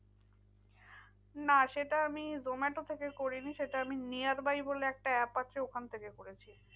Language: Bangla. না সেটা আমি zomato থেকে করিনি সেটা আমি nearby বলে একটা app আছে ওখান থেকে করেছি।